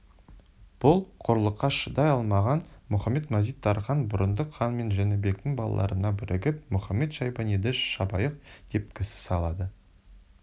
бұл қорлыққа шыдай алмаған мұхамед-мазит-тархан бұрындық хан мен жәнібектің балаларына бірігіп мұхамед-шайбаниды шабайық деп кісі салды